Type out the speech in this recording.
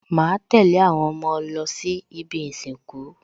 Màá tẹ̀lé àwọn ọmọ lọ sí ibi ìsìnkú